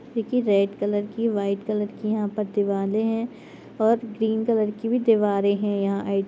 देखिए red colour की white colour की यहां पर दीवाले है और ग्रीन कलर की भी दिवारे है यहां एक।